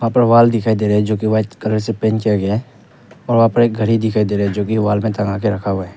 ऊपर वाल दिखाई दे रहा है जो की वाइट कलर से पेंट किया गया है और वहां पर एक घड़ी दिखाई दे रहा है जो की वॉल में टंगा के रखा हुआ है।